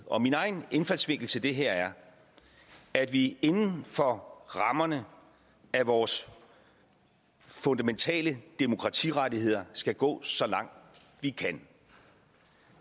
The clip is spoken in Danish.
og min egen indfaldsvinkel til det her er at vi inden for rammerne af vores fundamentale demokratirettigheder skal gå så langt vi kan